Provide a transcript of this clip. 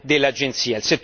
dell'Agenzia